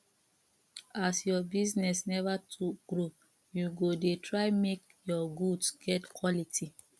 as your business neva too grow you go dey try make your goods get quality